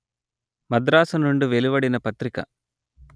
మద్రాసు నుండి వెలువడిన పత్రిక